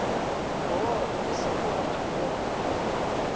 oo e seng wa phahello